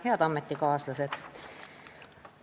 Head ametikaaslased!